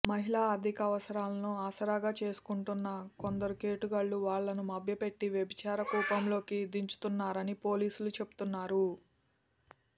మహిళ ఆర్థిక అవసరాలను ఆసగారా చేసుకుంటున్న కొందరు కేటుగాళ్లు వాళ్లను మభ్యపెట్టి వ్యభిచార కూపంలోకి దించుతున్నారని పోలీసులు చెబుతున్నారు